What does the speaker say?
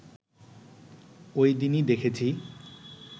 ঐদিনই দেখেছি